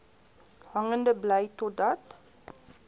hangende bly totdat